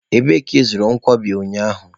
Ebee ka ị zụrụ nkwobi ụnyaahụ?.